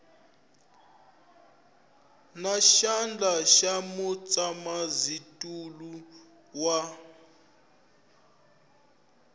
na xandla xa mutshamaxitulu wa